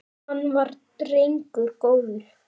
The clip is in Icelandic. Hann var drengur góður.